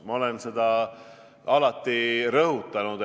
Ma olen seda alati rõhutanud.